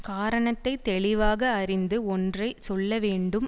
காரணத்தைத் தெளிவாக அறிந்து ஒன்றை சொல்ல வேண்டும்